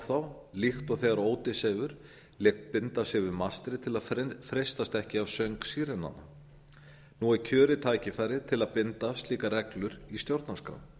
þá líkt og ódysseifur lét binda sig við mastrið til að freistast ekki af söng sírenanna nú er kjörið tækifæri til að binda slíkar reglur í stjórnarskrá